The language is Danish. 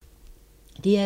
DR2